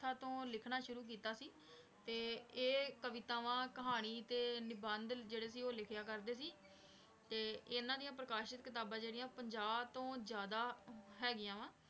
~ਥਾ ਤੋਂ ਲਿਖਣਾ ਸ਼ੁਰੂ ਕੀਤਾ ਸੀ ਤੇ ਇਹ ਕਵਿਤਾਵਾਂ, ਕਹਾਣੀ ਤੇ ਨਿਬੰਧ ਜਿਹੜੇ ਸੀ ਉਹ ਲਿਖਿਆ ਕਰਦੇ ਸੀ ਤੇ ਇਹਨਾਂ ਦੀਆਂ ਪ੍ਰਕਾਸ਼ਿਤ ਕਿਤਾਬਾਂ ਜਿਹੜੀਆਂ ਪੰਜਾਹ ਤੋਂ ਜ਼ਿਆਦਾ ਹੈਗੀਆਂ ਵਾਂ।